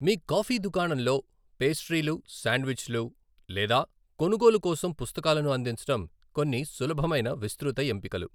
మీ coffee దుకాణంలో పేస్ట్రీలు, శాండ్విచ్లు లేదా కొనుగోలు కోసం పుస్తకాలను అందించడం కొన్ని సులభమైన విస్తృత ఎంపికలు